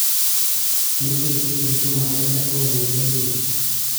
Nĩ kĩĩ kĩngĩtũma aingatwo mbungeinĩ.